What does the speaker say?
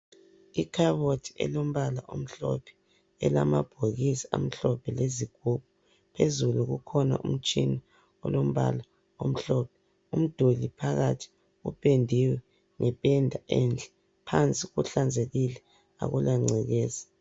Ikhabothi elombala omhlophe elamabhokisi amhlophe lezigubhu phezulu kukhona umtshina olombala omhlophe umduli phakathi upendiwe ngependa enhle phansi kuhlanzekile akula ngcekeza.